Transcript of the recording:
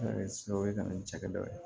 o ye kanni cɛkɛ dɔ ye